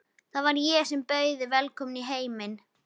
Það var ég sem bauð þig velkomna í heiminn.